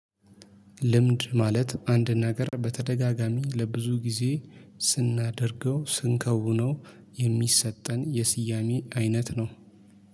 ልምድ ማለት አንድ ነገር በተደጋጋሚ ለብዙ ጊዜ ስናደርገው ስንከውነው የሚሰጠን የስያሜ አይነት ነው